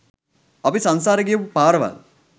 අපි සංසාරේ ගියපු පාරවල්.